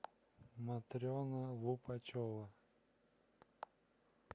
матрена лупачева